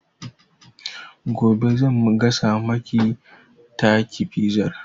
Gobe zan gasa maki taki fizar